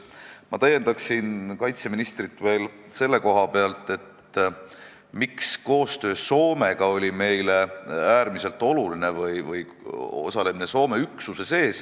Ma täiendan kaitseministrit veel selle koha pealt, miks koostöö Soomega või osalemine Soome üksuses oli meile äärmiselt oluline.